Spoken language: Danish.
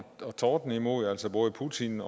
tordne imod altså både putin